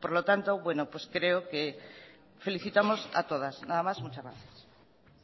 por lo tanto bueno pues creo que felicitamos a todas nada más muchas gracias